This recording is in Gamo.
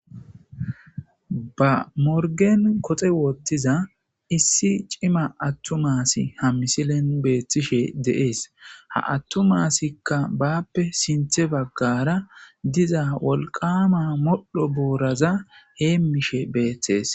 Ba morgen koxe woottiza issi cima attumasi ha misilen beethtishe deees ha attumasikka baappe sinthe baggara diza wolqama modho booraza heemishe beeththees